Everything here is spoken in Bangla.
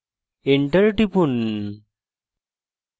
এবং enter টিপুন